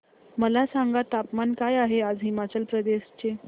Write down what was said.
मला सांगा तापमान काय आहे आज हिमाचल प्रदेश चे